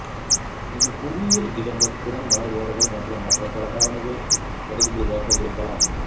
இது புவியியல் இடங்கள் திறன் மாறுபாடுகள் மற்றும் மற்ற பல காரணிகள் தொடர்புடையதாக இருக்கலாம்